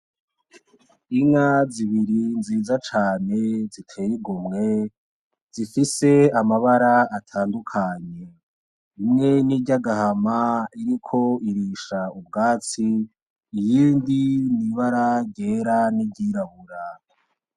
Inka zibiri nziza cane ziteye igomwe zifise amabara atandukanye. Imwe ni iry’agahama iriko irisha ubwatsi iyindi ni bara ryera n’iryirabura.